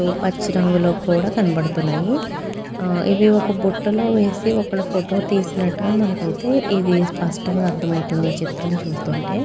పచ్చి రంగులో కూడా కనబడుతున్నాయి. ఇవి ఒక బుట్టలో వేసి ఒకలు ఫోటో తీసినట్లు మనకి అయితే ఇది స్పష్టంగా అర్థం అవుతుంది ఈ చిత్రం చూస్తుంటే.